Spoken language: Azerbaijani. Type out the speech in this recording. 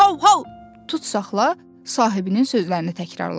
Hau hau, tut saxla, sahibinin sözlərini təkrarladı.